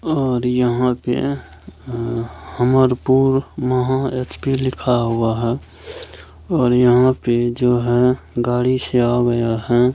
और यहाँ पे ह हमरपूर महा एच.पी. लिखा हुआ है और यहाँ पे जो है गाड़ी से आ गया है ।